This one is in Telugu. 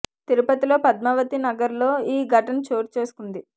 తిరుపతిలోని పద్మావతి నగర్ లో ఈ సంఘటన చోటు చేసుకుంది